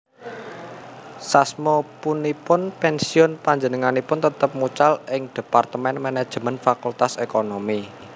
Sasmapunipun pensiun panjenenganipun tetep mucal ing Dhepartemen Manajemén Fakultas Ekonomi